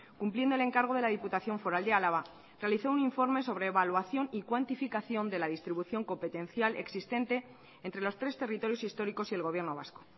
cumpliendo el encargo de la diputación foral de álava realizó un informe sobre evaluación y cuantificación de la distribución competencial existente entre los tres territorios históricos y el gobierno vasco